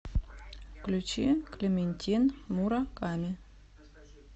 включи клементин мура ками